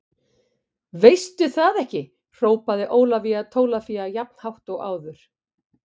Veistu það ekki hrópaði Ólafía Tólafía jafn hátt og áður.